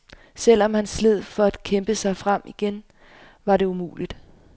Selv om han sled for at kæmpe sig frem igen, var det umuligt.